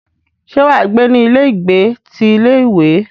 Ṣé wà á gbé ní ilé ìgbé ti ilé ìwé?